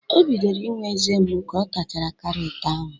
O bidoro inwe eze mgbu ka ọ tachara karọt ahụ